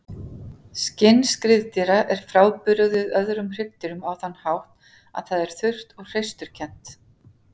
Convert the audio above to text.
Skinn skriðdýra er frábrugðið öðrum hryggdýrum á þann hátt að það er þurrt og hreisturkennt.